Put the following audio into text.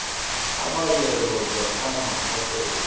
a madira lobjwa ka mahlakoreng